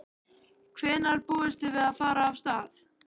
Hvenær búist þið við að fara af stað?